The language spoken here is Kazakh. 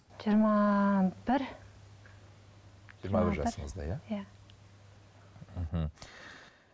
жиырма бір жиырма бір жасыңызда иә иә мхм